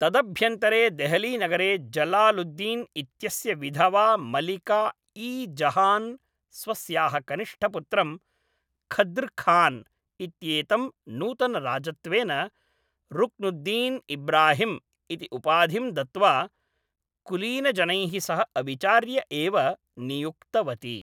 तदभ्यन्तरे देहलीनगरे जलालुद्दीन् इत्यस्य विधवा मलिका ई जहान् स्वस्याः कनिष्ठपुत्रं खद्र् खान् इत्येतं नूतनराजत्वेन, रुक्नुद्दीन् इब्राहिम् इति उपाधिं दत्त्वा, कुलीनजनैः सह अविचार्य एव नियुक्तवती।